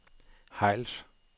Hejls